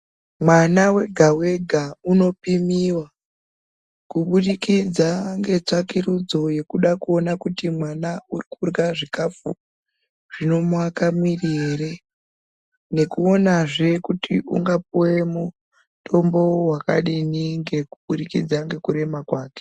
Mwana wega wega unopimiwa kuburikidza ngetsvakurudzo yekuda kuona kuti mwana uri kurya , zvikafu zvinomuaka miri ere , nekuona zve kuti ungapuwe mutombo wakadini ngekuburikidza ngekurema kwake.